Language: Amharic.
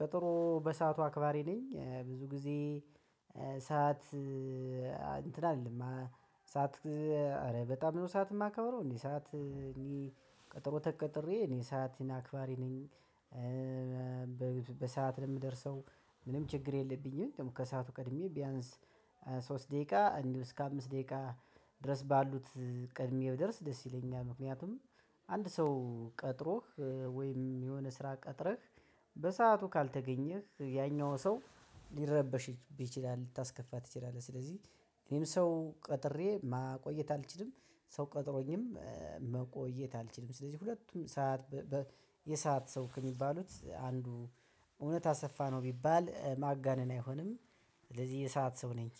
ቀጠሮ በሰአቱ አክባሪ ነኝ ብዙ ጊዜ ሰዓት እንትን አልልለም። ሰዓት አረ በጣም ነው ሰዓት የማከብረው። እንዴ ሰዓት እኔ ቀጠሮ ተቀጥሬ እኔ ሰአቴን አክባሪ ነኝ። በሰአት ለምደርሰው ምንም ችግር የለብኝም። ደግሞ ከሰአቱ ቀድሜ ቢያንስ ሶስት ደቂቃ እንዲሁም እስከ አምስት ደቂቃ ድረስ ባሉት ቀድሜ ብደረስ ደስ ይለኛል። ምክንያቱም አንድ ሰው ቀጥሮህ ወይም የሆነ ስራ ቀጥረህ በሰአቱ ካልተገኘህ ያኛው ሰው ሊረበሽብህ ይችላል ልታስከፋ ትችላለህ። ስለዚህ እኔም ሰው ቀጥሬ ማቆየት አልችልም ሰው ቀጥሮኝም መቆየት አልችልም። ስለዚህ ሁለቱም ሰዓት በ የሰዓት ሰው ከሚባሉት አንዱ እውነት አሰፋ ነው። ቢባል ማጋነን አይሆንም። ስለዚህ የሰዓት ሰው ነኝ